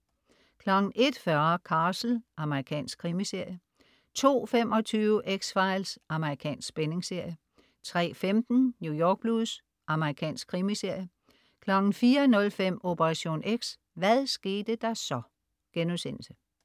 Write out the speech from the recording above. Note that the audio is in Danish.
01.40 Castle. Amerikansk krimiserie 02.25 X-Files. Amerikansk spændingsserie 03.15 New York Blues. Amerikansk krimiserie 04.05 Operation X: Hvad skete der så?*